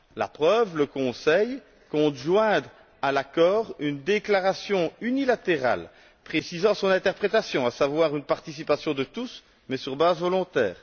La preuve le Conseil compte joindre à l'accord une déclaration unilatérale précisant son interprétation, à savoir une participation de tous, mais sur base volontaire.